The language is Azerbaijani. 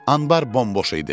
Anbar bomboş idi.